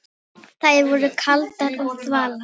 Þær voru kaldar og þvalar.